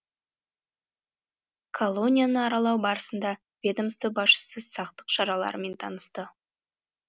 колонияны аралау барысында ведомство басшысы сақтық шараларымен танысты